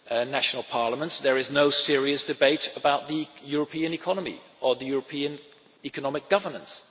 that in national parliaments there is no serious debate about the European economy or European economic governance.